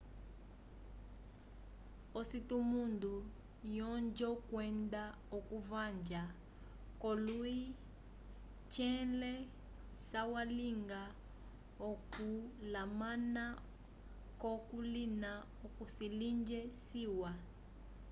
ocitundo yonjo kwenda okuvanja ko lui tnle sa walinga okulamana ko colina oco cilinge ciwa